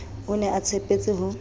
o ne a tshepetse ho